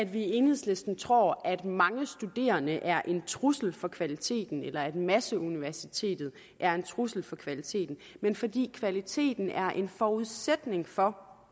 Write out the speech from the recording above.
vi i enhedslisten tror at mange studerende er en trussel for kvaliteten eller at masseuniversitetet er en trussel for kvaliteten men fordi kvaliteten er en forudsætning for